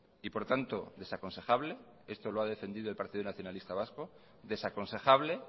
y por tanto desaconsejable esto lo ha defendido el partido nacionalista vasco desaconsejable